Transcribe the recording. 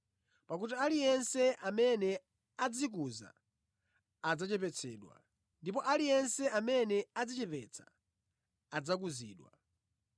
Pakuti aliyense amene adzikuza adzachepetsedwa, ndipo aliyense amene adzichepetsa adzakuzidwa.